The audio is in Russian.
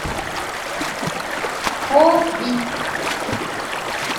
хоббит